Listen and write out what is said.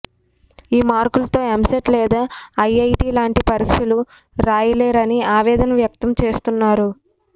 ఈ మార్కులతో ఎంసెట్ లేదా ఐఐటీ లాంటి పరీక్షలు రాయలేరని ఆవేదన వ్యక్తం చేస్తున్నారు